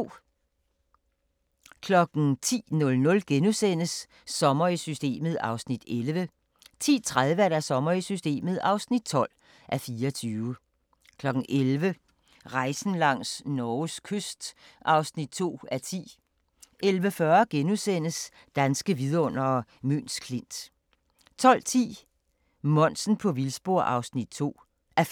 10:00: Sommer i Systemet (11:24)* 10:30: Sommer i Systemet (12:24) 11:00: Rejsen langs Norges kyst (2:10) 11:40: Danske vidundere: Møns Klint * 12:10: Monsen på vildspor (2:5)